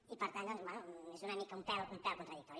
i per tant doncs bé és una mica un pèl contradictori